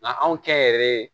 Nka anw kɛnyɛrɛye